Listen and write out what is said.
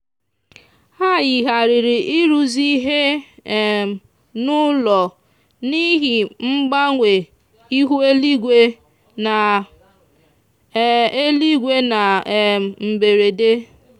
ha yigharịrị ịrụzi ihe um n'ụlọ n'ihi mgbanwe ihu eluigwe na eluigwe na um mberede.